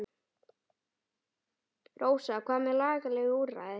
Rósa: Hvað með lagaleg úrræði?